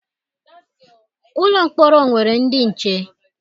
Ụlọ mkpọrọ nwere ndị nche.